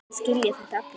Það skilja þetta allir.